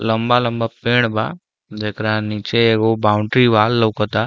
लम्बा-लम्बा पेड़ बा जेकरा नीचे एगो बाउंड्री वॉल लउकता।